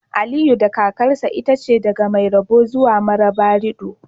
Aliyu da kakarsa itace daga Maigabo zuwa Marabarido